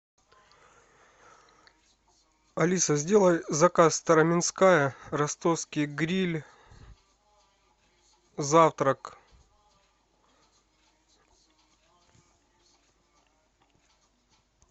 алиса сделай заказ староменская ростовский гриль завтрак